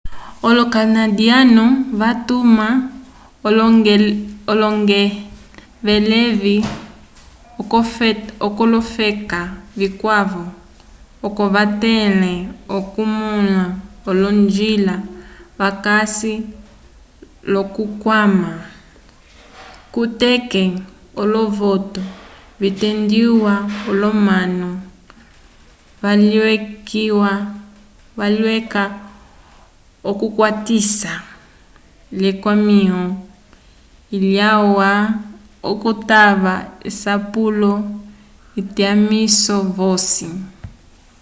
olo-kanadiyanu vatuma olongevelevi k'olofeka vikwavo oco vatẽle okumõla olonjila vakasi l'okukwama kuteke olovotu vitendiwa l'omanu valeyca k'okukwatisa l'ekwamĩho lyalwa okutava asapulo vyatumisi vosi